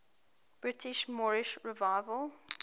britain's moorish revival